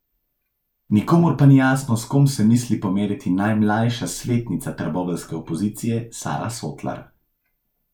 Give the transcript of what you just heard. Nikomur pa ni jasno, s kom se misli pomeriti najmlajša svetnica trboveljske opozicije Sara Sotlar.